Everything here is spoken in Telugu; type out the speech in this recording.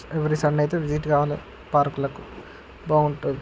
ఎవరీ సండే అయితే విజిట్ కావాలి పార్క్ లకు. బాగుంటది.